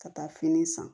Ka taa fini san